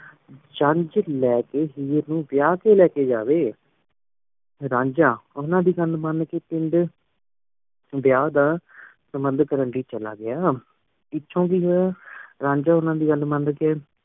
ਜੰਜ ਲੈ ਕੇ ਹੀਰ ਨੂੰ ਵਿਆਹ ਕ ਲੈ ਕੇ ਜਾਇ। ਰਾਂਝਾ ਉਨਾ ਦੀ ਘਾਲ ਮਨ ਕੀ ਪਿੰਡ ਵਿਆਹ ਦਾ ਪ੍ਰਬੰਧ ਕਰਨ ਲੈ ਚਲਾ ਗਇਆ ਪਿੱਛੋਂ ਦਿ ਫੇਰ ਰਾਂਝਾ ਉਨਾ ਦੀ ਘਾਲ ਮਨ ਕੀ